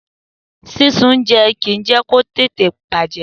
Sísun oúnjẹ kì í jẹ́ kó tètè bàjẹ́.